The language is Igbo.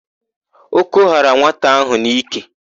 Ọ́kọ́ ghara nwata áhụ̀ n'íkè.